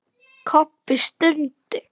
Kobbi stundi.